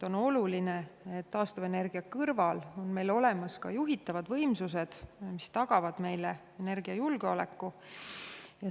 On oluline, et taastuvenergia kõrval on meil olemas ka juhitavad võimsused, mis tagavad meile energiajulgeoleku.